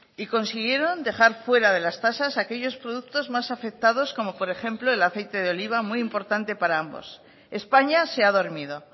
y consiguieron dejar fuera de las tasas aquellos productos más afectados como por ejemplo el aceite de oliva muy importante para ambos españa se ha dormido